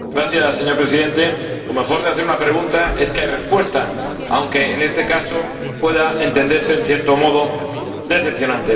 Señor Presidente, lo mejor de hacer una pregunta es que hay respuesta, aunque en este caso pueda considerarse, en cierto modo, decepcionante.